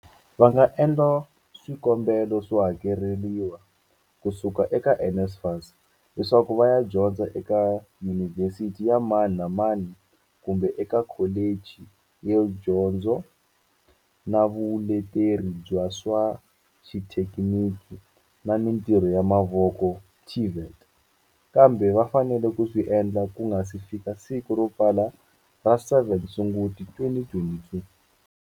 Va nga endla swikombelo swo hakeleriwa ku suka eka NSFAS leswaku va ya dyondza eka yunivhesiti ya mani na mani kumbe eka kholichi ya dyondzo na vuleteri bya swa xithekiniki na mitirho ya mavoko, TVET, kambe va fanele ku swi endla ku nga si fika siku ro pfala ra 7 Sunguti, 2022.